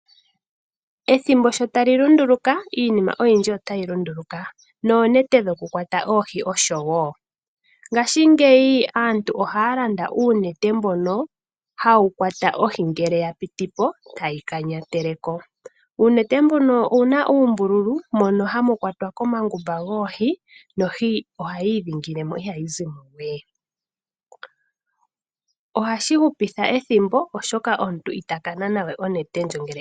Ethimbo sho tali lunduluka iinima oyindji otayi lunduluka, noonete shokukwata oohi oshowo. Ngashingeyi aantu ohaya landa uunete mbono hawu kwata ohi ngele ya piti po, tayi kanyatele ko. Uunete mbuno owuna uumbululu mono hamu kwatwa komangumba goohi, nohi ohayi idhingile mo na ihayi zimo we. Ohashi hupitha ethimbo oshoka omuntu ita ka nana we onete.